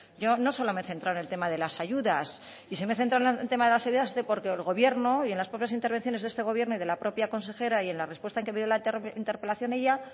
yo no solo me he centrado en tema de la ayudas y si me he centrado en el tema de las ayudas es porque el gobierno y en la propias intervenciones de este gobierno y de la propia consejera y en la respuesta que me dio en la interpelación ella